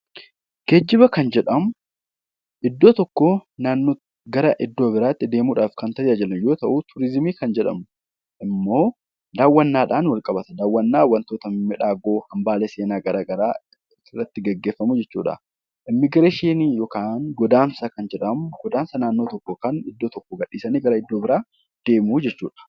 Geejjiba kan jedhamu iddoo tokkoo gara iddoo biraatti deemuudhaaf kan tajaajilu yoo ta'u, turizimii kan jedhamu immoo daawwannaadhaan wal qabata wantoota miidhagoo hambaalee seenaa garaagaraa irratti gaggeeffamu jechuudha. Immiigireeshinii yookaan godaansa kan jedhamu iddoo tokko gadhiisanii iddoo biraa deemuu jechuudha